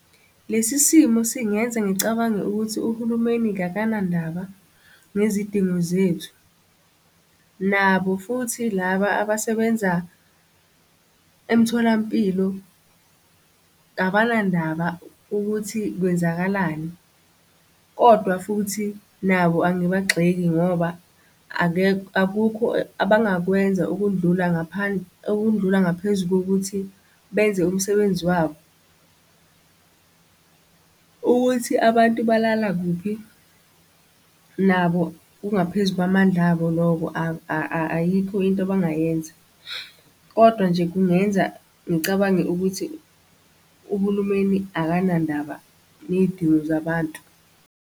Lesi simo singenza ngicabange ukuthi uhulumeni kakanandaba ngezidingo zethu, nabo futhi laba abasebenza emtholampilo abandaba ukuthi kwenzakalani, kodwa futhi nabo angibagxeki ngoba akekho akukho abangakwenza ukundlula ngaphandle okundlula ngaphezu kokuthi benze umsebenzi wabo. Ukuthi abantu balala kuphi nabo kungaphezu kwamandla abo loko ayikho into abangayenza. Kodwa nje kungenza ngicabange ukuthi uhulumeni akanandaba ney'dingo zabantu.